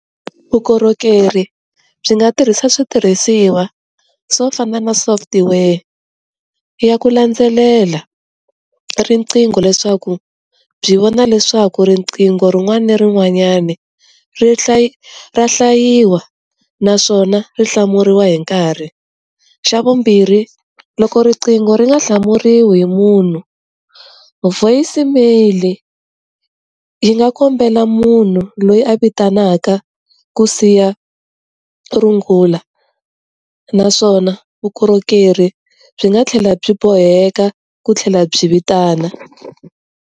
Vukorhokeri byi nga tirhisa switirhisiwa swo fana na software ya ku landzelela riqingho leswaku byi vona leswaku riqingho rin'wana na rin'wanyani ra hlayiwa ra hlayiwa naswona ri hlamuriwa hi nkarhi xa vumbirhi loko riqingho ri nga hlamuriwa hi munhu voice mail yi nga kombela munhu loyi a vitanaka ku siya rungula naswona vukorhokeri byi nga tlhela byi boheka ku tlhela byi vitana.